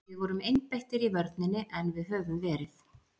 Við vorum einbeittir í vörninni en við höfum verið.